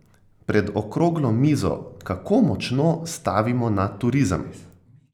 Pred okroglo mizo Kako močno stavimo na turizem?